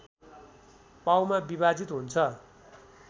पाउमा विभाजित हुन्छ